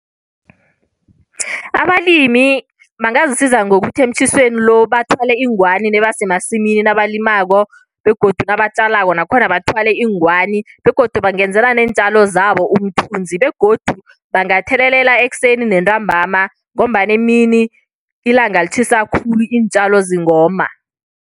Abalimi bangazisiza ngokuthi emtjhisweni lo bathwale iingwani nabasemasimini nabalimako, begodu nabatjalako nakhona bathwale iingwani. Begodu bangenzela neentjalo zabo umthunzi, begodu bangathelelela ekuseni nentambama, ngombana emini ilanga litjhisa khulu. Iintjalo zingoma.